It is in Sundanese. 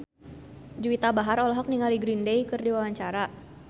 Juwita Bahar olohok ningali Green Day keur diwawancara